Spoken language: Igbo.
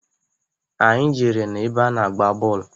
Anyị jere n'ebe a na-agba bọlụ.